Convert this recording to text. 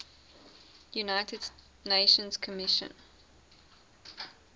united nations commission